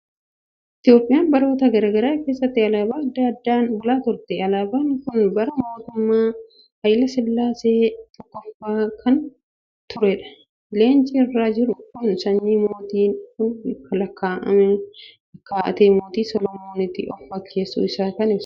Itoophiyaan baroota garaa garaa keessatti alaabaa adda addaan bulaa turte. Alaabaan kun bara mootummaa Haayilee Sillaasee tokkoffaa kan turedha. Leenci irra jiru kun sanyii mootiin kun lakkaa'atee Mootii Solomonitti of fakkeessuu isaa kan ibsudha.